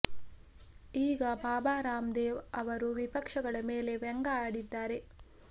ಈಗ ಬಾಬಾ ರಾಮ್ ದೇವ್ ಅವರು ವಿಪಕ್ಷಗಳ ಮೇಲೆ ವ್ಯಂಗ್ಯ ಆಡಿದ್ದಾರೆ